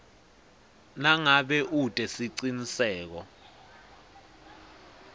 nangabe ute siciniseko